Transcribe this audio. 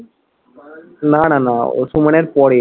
না না না, ও সুমনের পরে